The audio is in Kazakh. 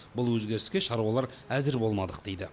бұл өзгеріске шаруалар әзір болмадық дейді